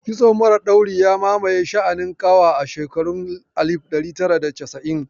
Kitso mara ɗauri ya mamaye sha'anin ƙawa a shekurun alif ɗari tara da casa'in